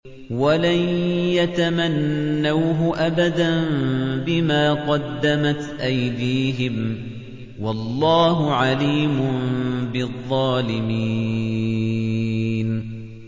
وَلَن يَتَمَنَّوْهُ أَبَدًا بِمَا قَدَّمَتْ أَيْدِيهِمْ ۗ وَاللَّهُ عَلِيمٌ بِالظَّالِمِينَ